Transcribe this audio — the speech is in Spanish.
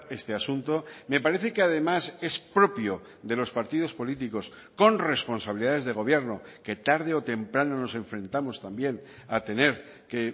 este asunto me parece que además es propio de los partidos políticos con responsabilidades de gobierno que tarde o temprano nos enfrentamos también a tener que